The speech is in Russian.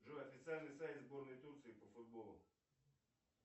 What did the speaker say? джой официальный сайт сборной турции по футболу